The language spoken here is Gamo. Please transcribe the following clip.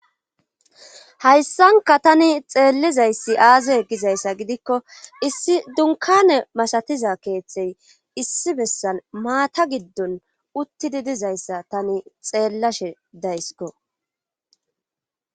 hayssanka tani xeellizayssi aaze gizayssa gidikko issi dunkane masatiza keeththey issi bessan maata giddon uttidi dizayssa tani xeellashe daysiko